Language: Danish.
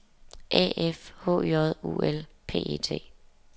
A F H J U L P E T